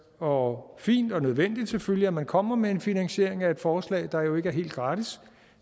og fint og nødvendigt selvfølgelig at man kommer med en finansiering af et forslag der jo ikke er helt gratis